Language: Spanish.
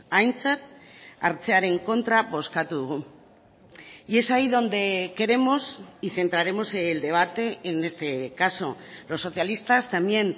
aintzat hartzearen kontra bozkatu dugu y es ahí donde queremos y centraremos el debate en este caso los socialistas también